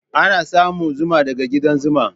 Ana samun zuma daga ƙudan zuma.